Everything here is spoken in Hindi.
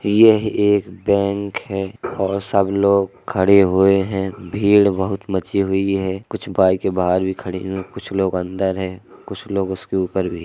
यह एक बैंक है और सब लोग खड़े हुए हैं भीड़ बहुत मची हुई है कुछ बाइकें बाहर भी खड़ी कुछ लोग अंदर हैं कुछ लोग उसके उपर भी हैं।